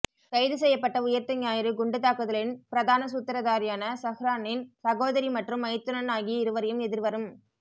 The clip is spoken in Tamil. கைது செய்யப்பட்ட உயிர்த்த ஞாயிறு குண்டுத் தாக்குதலின் பிரதான சூத்திரதாரியான ஸஹ்ரானின் சகோதரி மற்றும் மைத்துனன் ஆகிய இருவரையும் எதிர்வரும்